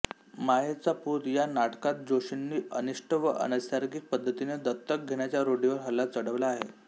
मायेचा पूत या नाटकात जोशींनी अनिष्ट व अनैसर्गिक पद्धतीने दत्तक घेण्याच्या रूढीवर हल्ला चढवला आहे